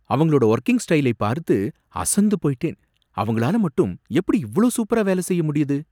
அவங்களோட வொர்கிங் ஸ்டைலை பார்த்து அசந்து போயிட்டேன்! அவங்களால மட்டும் எப்படி இவ்ளோ சூப்பரா வேலை செய்ய முடியுது?